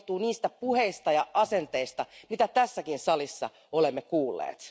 Se johtuu niistä puheista ja asenteista, mitä tässäkin salissa olemme kuulleet.